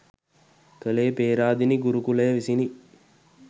කළේ පේරාදෙණි ගුරුකුලය විසිනි